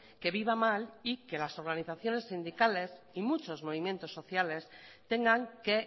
que viva mal y que las organizaciones sindicales y muchos movimientos sociales tengan que